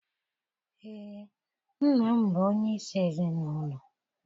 Ee, nna bụ onyeisi ezinụlọ.